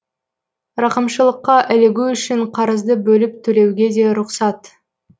рақымшылыққа ілігу үшін қарызды бөліп төлеуге де рұқсат